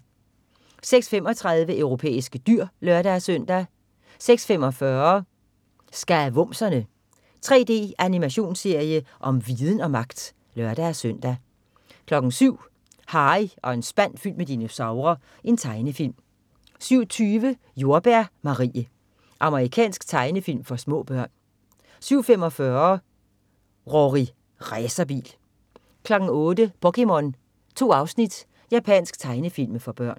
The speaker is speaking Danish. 06.35 Europæiske dyr (lør-søn) 06.45 Skavumserne. 3D-animationsserie om viden og magt! (lør-søn) 07.00 Harry og en spand fyldt med dinosaurer. Tegnefilm 07.20 Jordbær Marie. Amerikansk tegnefilm for små børn 07.45 Rorri Racerbil 08.00 POKéMON. 2 afsnit. Japansk tegnefilm for børn